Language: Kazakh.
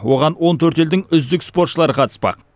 оған он төрт елдің үздік спортшылары қатыспақ